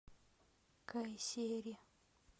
кайсери